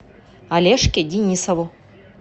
олежке денисову